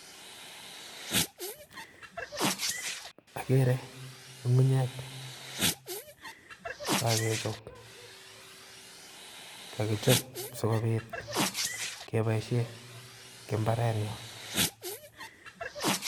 Ageere ngungunyek chekokechob, kakichob sikobiit keboishie eng mbarenyon